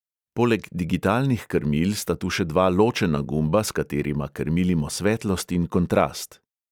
Poleg digitalnih krmil sta tu še dva ločena gumba, s katerima krmilimo svetlost in kontrast.